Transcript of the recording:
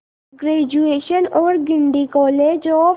graduation और Guindy college of